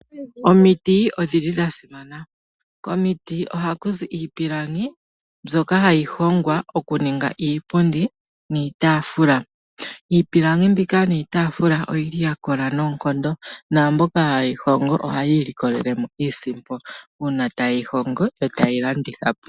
Omiti odhi li dha simana. Komiti ohaku zi iipilangi mbyoka hayi hongwa okuninga iipundi niitafula. Iipilangi mbika niitafula oyi li ya kola noonkondo naamboka haye yi hongo ohayi ilikolelemo iiisimpo uuna taye yi hongo etaye yi landithapo.